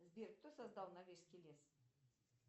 сбер кто создал норвежский лес